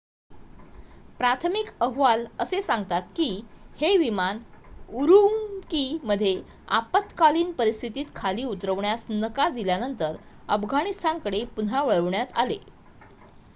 प्राथमिक अहवाल असे सांगतात की हे विमान उरुम्की मध्ये आपत्कालीन परिस्थितीत खाली उतरवण्यास नकार दिल्यानंतर अफगाणिस्तानकडे पुन्हा वळवण्यात आले